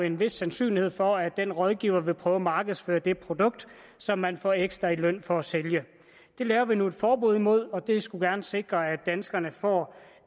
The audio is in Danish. en vis sandsynlighed for at den rådgiver vil prøve at markedsføre det produkt som man får ekstra i løn for at sælge det laver vi nu et forbud imod og det skulle gerne sikre at danskerne får